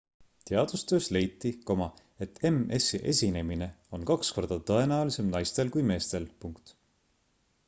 teadustöös leiti et ms-i esinemine on kaks korda tõenäolisem naistel kui meestel